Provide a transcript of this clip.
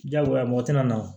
Diyagoya mɔgɔ tina